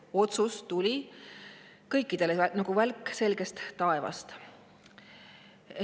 See otsus tuli kõikidele nagu välk selgest taevast.